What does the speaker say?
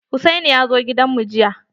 Hussaini ya zo gidan mu jiya.